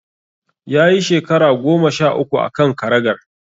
Ya yi shekara goma sha uku a kan karagar.